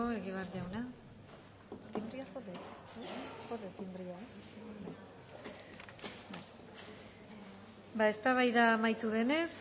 asko egibar ba eztabaida amaitu denez